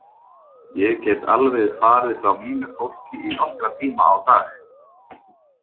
Ég get alveg farið frá mínu fólki í nokkra tíma á dag.